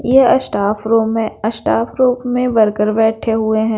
यह staff room हैं staff रूप में वर्कर बैठे हुए हैं।